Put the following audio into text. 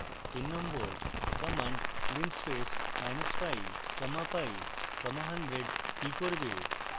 3 command linspace minus pi comma pi comma 100 কি করবে